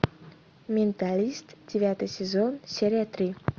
менталист девятый сезон серия три